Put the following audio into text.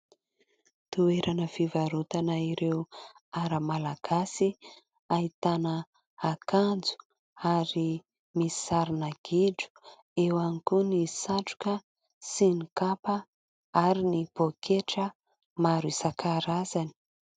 Toerana fivarotana ireo Ara malagasy, ahitana akanjo ary misy sarina gidro, eo ihany koa ny satroka sy ny kapa ary ny poketra, maro isankarazany.